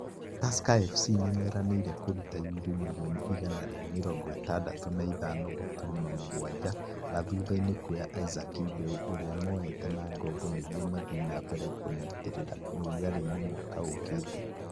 Tusker FC nimeranĩire kuruta yurũ mirioni igana ria mirongo itandatu na ithano gaturumo mũgwanja na thuthaini kuoya Isaac Mbeu ũrĩa moete na ngombo nĩguo mathiĩ na mbere kũnyitĩrĩra ũrugarĩ-inĩ mwaka ũkĩte